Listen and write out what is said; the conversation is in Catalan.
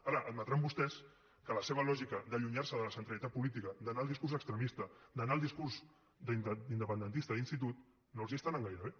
ara admetran vostès que la seva lògica d’allunyar se de la centralitat política d’anar al discurs extremista d’anar al discurs independentista d’institut no els està anant gaire bé